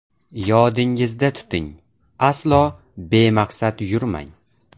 Yodingizda tuting – aslo bemaqsad yurmang.